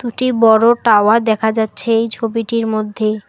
দুটি বড় টাওয়ার দেখা যাচ্ছে এই ছবিটির মধ্যে।